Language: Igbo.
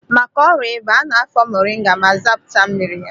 Maka ọrịa ịba, a na-afọ moringa ma zapụta mmiri ya.